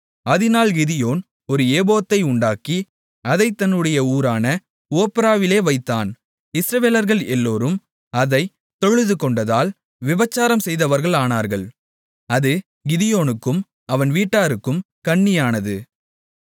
அதினால் கிதியோன் ஒரு ஏபோத்தை உண்டாக்கி அதைத் தன்னுடைய ஊரான ஒப்ராவிலே வைத்தான் இஸ்ரவேலர்கள் எல்லோரும் அதைத் தொழுதுகொண்டதால் விபசாரம் செய்தவர்களானார்கள் அது கிதியோனுக்கும் அவன் வீட்டாருக்கும் கண்ணியானது